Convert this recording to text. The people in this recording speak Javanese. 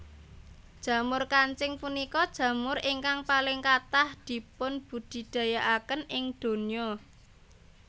Jamur kancing punika jamur ingkang paling kathah dipunbudidayakaken ing donya